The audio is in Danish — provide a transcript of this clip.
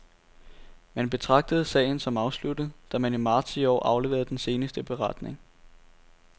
Man betragtede sagen som afsluttet, da man i marts i år afleverede den seneste beretning.